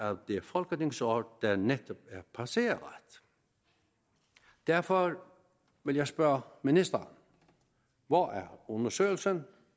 det folketingsår der netop er passeret derfor vil jeg spørge ministeren hvor er undersøgelsen